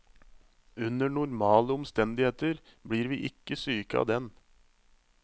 Under normale omstendigheter blir vi ikke syke av den.